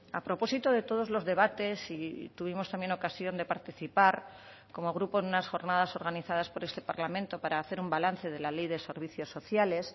a propósito de todos los debates y tuvimos también ocasión de participar como grupo en unas jornadas organizadas por este parlamento para hacer un balance de la ley de servicios sociales